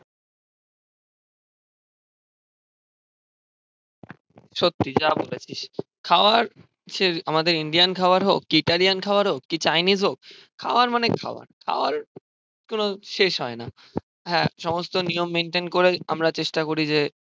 সত্যি যা বলেছিস. খাওয়ার আমাদের ইন্ডিয়ান খাবার হোক, গিটারিয়ান খাওয়ার হোক, কি চাইনিজ হোক? খাওয়ার মানে খাওয়ার. খাওয়ার কোন শেষ হয় না. হ্যাঁ সমস্ত নিয়ম মেন্টেন করে আমরা চেষ্টা করি যে,